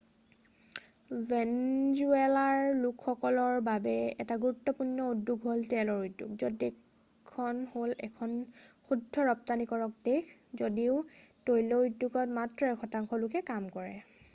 ভেনজুৱালাৰ লোকসকলৰ বাবে এটা গুৰুত্বপূৰ্ণ উদ্যোগ হ'ল তেলৰ উদ্যোগ য'ত দেশখন হ'ল এখন শুদ্ধ ৰপ্তানিকৰক দেশ যদিও তৈল উদ্যোগত মাত্ৰ এক শতাংশ লোকে কাম কৰে